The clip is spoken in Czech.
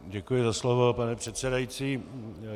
Děkuji za slovo, pane předsedající.